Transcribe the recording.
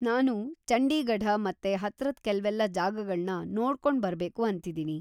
ನಾನು ಚಂಡೀಗಢ ಮತ್ತೆ ಹತ್ರದ್ ಕೆಲ್ವೆಲ್ಲ ಜಾಗಗಳ್ನ ನೋಡ್ಕೊಂಡ್‌ ಬರ್ಬೇಕು ಅಂತಿದೀನಿ.